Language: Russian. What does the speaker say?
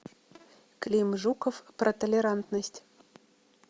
клим жуков про толерантность